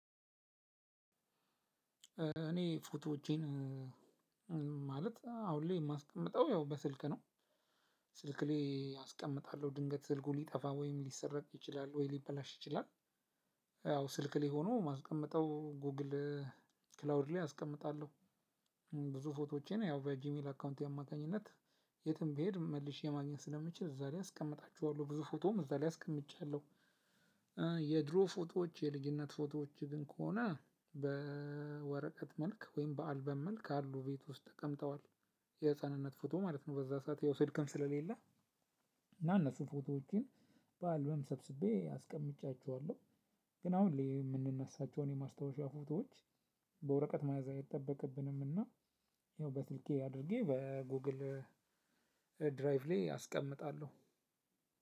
እኔ ፎቶዎቼን ማለት አሁን ላይ የማስቀምጠው ያው በስልክ ነው። ስልክ ላይ አስቀምጣለሁ ድንገት ስልኩ ሊጠፋ ወይም ሊሰረቅ ይችላል ወይ ሊበላሽ ይችላል። ያው ስልክ ላይ ሆኑ የማስቀምጠው ጉግል ክላውድ ላይ አስቀምጣለሁ። ፎቶዎቼን ያው በጂሜል አካውንቴ አማካኝነት የትም ብሄድ መልሼ ማግኘት ስለምችል እዛ ላይ አስቀምጣቸዋለሁ። ብዙ ፎቶም እዛ ላይ አስቀምጫለሁ። የድሮ ፎቶዎች የልጅነት ፎቶዎች ግን ከሆነ በወረቀት መልክ ወይም በአልበም መልክ አሉ ቤት ውስጥ ተቀምጠዋል። የህፃንነት ፎቶ ማለት ነው በዛ ሰዓት ያው ስልክም ስለሌለ እና እነሱን ፎቶዎቼን በአልበም ሰብስቤ አስቀምጫቸዋለሁ። ግን አሁን የምንነሳቸውን የማስታወሻ ፎቶዎች በወረቀት መያዛ አይጠበቅብንምና ያው በስልኬ አድርጌ በጎግል ድራይቭ ላይ አስቀምጣለሁ።